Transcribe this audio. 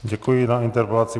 Děkuji za interpelaci.